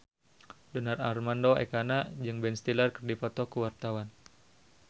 Donar Armando Ekana jeung Ben Stiller keur dipoto ku wartawan